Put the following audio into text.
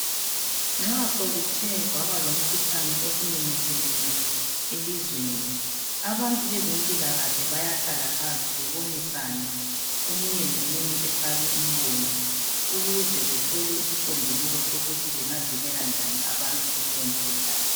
Nxa sokuthe kwaba lomkhuhlane osumemethekile elizweni, abantu bezempilakahle bayahlala phansi bebonisane, omunye lomunye afake umbono, ukuze bethole isisimbululo sokuthi bengavikela njani abantu kulowo mkhuhlane.